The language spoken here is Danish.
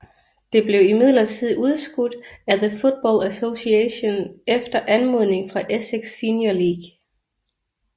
Det blev imidlertid udskudt af The Football Association efter anmodning fra Essex Senior League